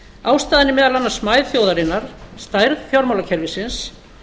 ástæðan er meðal annars smæð þjóðarinnar stærð fjármálakerfisins